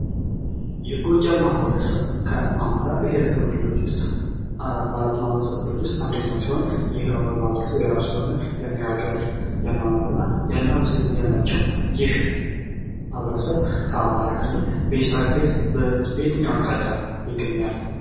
የጎጃም ማህበረሰብ ከአማራ ብሄረሰብ ክልሎች ውስጥ ከአራቱ ማህበረሰብ ክፍሎች ውስጥ አንደኛው ሲሆን ይህም ማህበረሰብ የራሱ የሆነ የአነጋገር የአኗኗርና የአለባበስ ዘይቤ ያላቸው። ይህ ማህበረሰብ ከአማራ ክልል በዬትኛው አቅጣጫ ይገኛል?